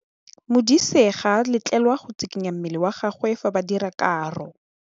Modise ga a letlelelwa go tshikinya mmele wa gagwe fa ba dira karô.